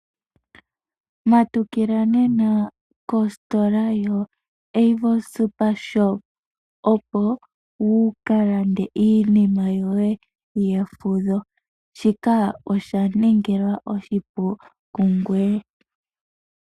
Matukila nena kositola yo Avo Supershop opo wu ka lande iinima yoye yefudho, shika osha ningilwa oshipu kungoye.